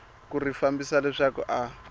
ku ri fambisa leswaku a